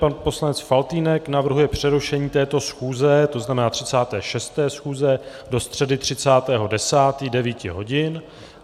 Pan poslanec Faltýnek navrhuje přerušení této schůze, to znamená 36. schůze, do středy 30. 10. 9 hodin.